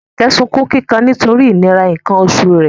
Jumoke sunkún kíkan nítorí ìnira nǹkan oṣù rẹ̀